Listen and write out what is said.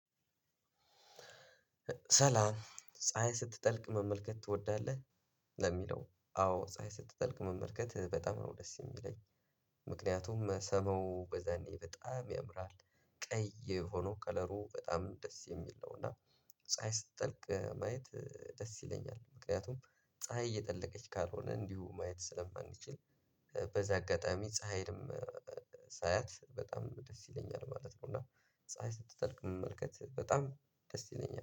ሰላም ፀሀይ ስትጠልቅ መመልከት ትወዳለህ? ለሚለው አዎ ፀሀይ ስትጠልቅ መመልከት በጣም ነው ደስ የሚለኝ። ምክንያቱም ሰማው በዛኔ በጣም ያምራል ቀይ ሆኖ ከለሩ በጣም ደስ የሚል ነው። እና ፀሀይ ስትጠልቅ ማየት ደስ ይለኛል። ምክንያቱም ፀሀይ እየጠለቀች ካልሆነ እንዲሁ ማየት ስለማንችል። በዛ አጋጣሚ ፀሀይም ሳያት በጣም ደስ ይለኛል ማለት ነው። እና ፀሀይ ስትጠልቅ መመልከት በጣም ደስ ይለኛል